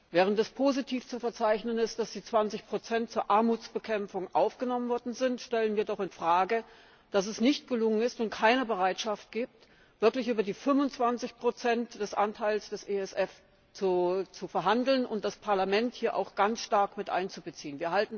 Während es positiv zu verzeichnen ist, dass die 20 zur Armutsbekämpfung aufgenommen worden sind, stellen wir doch in Frage, dass es nicht gelungen ist und es keine Bereitschaft gibt, wirklich über den Anteil von 25 des ESF zu verhandeln und das Parlament hier auch ganz stark mit einzubeziehen.